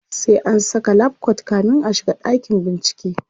sai an Saka lab coat kamin a shiga dakin bincike